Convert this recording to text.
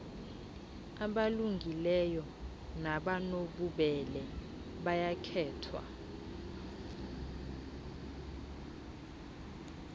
abalungileyo nabanobubele bayakhethwa